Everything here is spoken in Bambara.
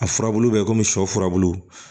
A furabulu bɛ komi shɛ furabulu